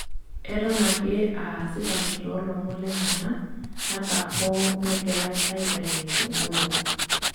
Eton ake aa asipani toolomon lenyana ata hoo negirai aiteeniki nkumok.